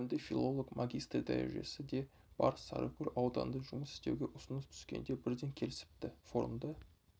білімді филолог магистр дәрежесі де бар сарыкөл ауданында жұмыс істеуге ұсыныс түскенде бірден келісіпті форумда